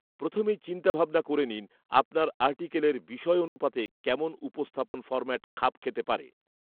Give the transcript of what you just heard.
প্রথেমেই চিন্তাভাবনা করে নিন, আপনার আর্টিকেলের বিষয়অনুপাতে কেমন উপস্থাপন ফরম্যাট খাপ খেতে পারে